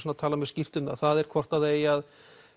talað mjög skýrt um það það er hvort það eigi að